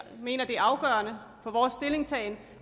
mener det er afgørende for vores stillingtagen